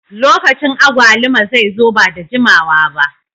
Lokacin agwaluma zai zo ba da jimawa ba.